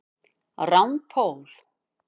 Rand Paul